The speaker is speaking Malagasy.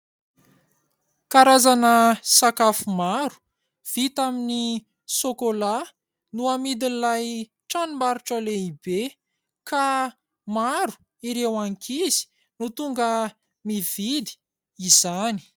Karazana sakafo maro vita amin'ny sôkôla no amidin'ilay tranom-barotra lehibe ka maro ireo ankizy no tonga mividy izany.